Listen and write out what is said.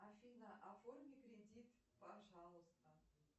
афина оформи кредит пожалуйста